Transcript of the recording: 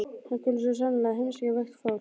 Hann kunni svo sannarlega að heimsækja veikt fólk.